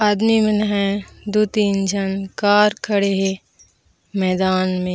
अगले मनहे दो तीन जान कार खड़े है मैदान में --